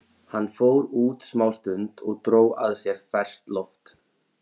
Hann fór út smástund og dró að sér ferskt loft.